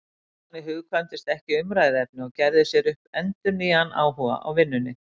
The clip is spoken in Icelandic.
Stefáni hugkvæmdist ekkert umræðuefni og gerði sér upp endurnýjaðan áhuga á vinnunni.